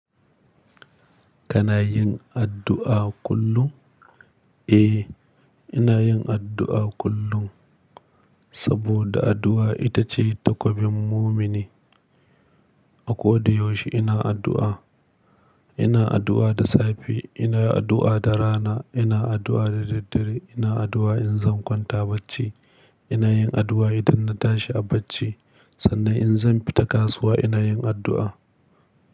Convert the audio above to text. Kana yin addu'a kullum? Eh, ina yin addu'a kullum saboda addu'a ita ce takobin mumini. A kodayaushe ina addu'a. Ina addu'a da safe, ina addu'a da rana, ina addu'a da daddare, ina addu'a in zan kwanta bacci, ina yin addu'a idan na tashi a bacci. Sannan in zan fita kasuwa ina yin addu'a.